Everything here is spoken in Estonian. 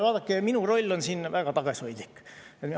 Vaadake, minu roll on siin väga tagasihoidlik.